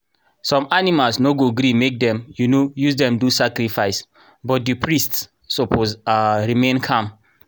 some animals no go gree make dem um use them do sacrifice but the priests suppose um remain calm.